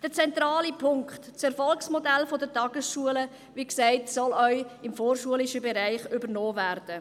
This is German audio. Der zentrale Punkt: Das Erfolgsmodell der Tagesschulen soll wie gesagt auch im vorschulischen Bereich übernommen werden.